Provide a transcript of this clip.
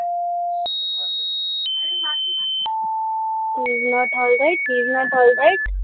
heisnot alright she is not alright